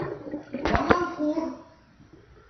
даманхур